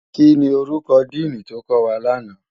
Kini órúkò dìní tó kòwá làná?